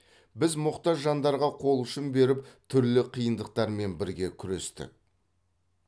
біз мұқтаж жандарға қол ұшын беріп түрлі қиындықтармен бірге күрестік